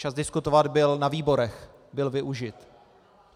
Čas diskutovat byl na výborech, byl využit.